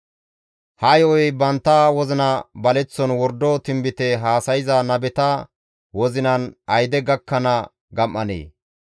Ha yo7oy bantta wozina baleththon wordo tinbite haasayza nabeta wozinan ayde gakkanaas gam7anee?